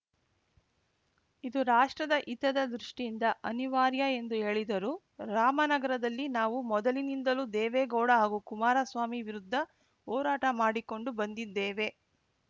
ಇದು ರಾಷ್ಟ್ರದ ಹಿತದ ದೃಷ್ಟಿಯಿಂದ ಅನಿವಾರ್ಯ ಎಂದು ಹೇಳಿದರು ರಾಮನಗರದಲ್ಲಿ ನಾವು ಮೊದಲಿನಿಂದಲೂ ದೇವೇಗೌಡ ಹಾಗೂ ಕುಮಾರಸ್ವಾಮಿ ವಿರುದ್ಧ ಹೋರಾಟ ಮಾಡಿಕೊಂಡು ಬಂದಿದ್ದೇವೆ